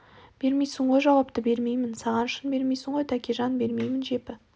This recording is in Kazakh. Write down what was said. бермейсің ғой жауапты бермеймін саған шын бермейсің ғой тәкежан бермеймін жепі